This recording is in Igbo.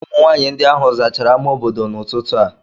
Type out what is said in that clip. Ụmụnwaanyị ndị ahụ zachara ámá obodo n'ụtụtụ a